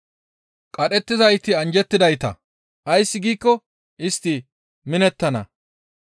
Qadhettizayti anjjettidayta, ays giikko istti minettana.